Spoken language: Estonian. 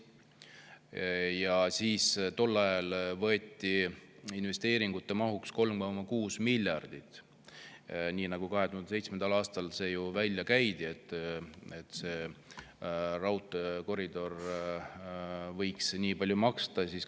Tol ajal investeeringute mahuks 3,6 miljardit, nii nagu see 2007. aastal välja käidi, et see raudteekoridor võiks nii palju maksma minna.